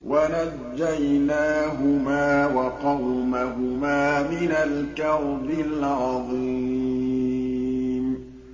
وَنَجَّيْنَاهُمَا وَقَوْمَهُمَا مِنَ الْكَرْبِ الْعَظِيمِ